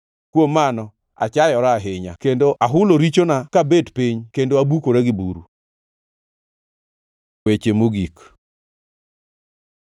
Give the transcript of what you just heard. Kuom mano, achayora ahinya kendo ahulo richona ka bet piny kendo abukora gi buru.” Weche mogik